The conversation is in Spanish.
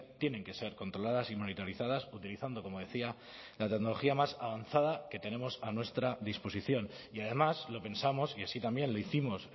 tienen que ser controladas y monitorizadas utilizando como decía la tecnología más avanzada que tenemos a nuestra disposición y además lo pensamos y así también lo hicimos